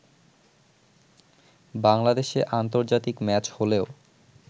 বাংলাদেশে আন্তর্জাতিক ম্যাচ হলেও